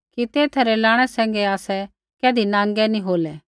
कि तेथा रै लाणै सैंघै आसै कैधी नाँगै नी होलै